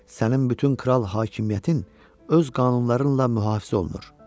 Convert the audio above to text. Sənin bütün kral hakimiyyətin öz qanunlarınla mühafizə olunur.